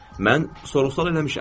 Mən sorğu-sual eləmişəm.